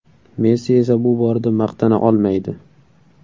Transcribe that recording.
Messi esa bu borada maqtana olmaydi.